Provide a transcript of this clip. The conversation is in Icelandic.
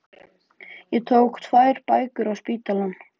Ég tók með mér tvær bækur á spítalann